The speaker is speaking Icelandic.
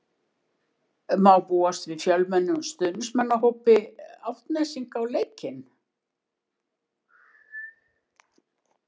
Má búast við fjölmennum stuðningsmannahópi Álftnesinga á leiknum?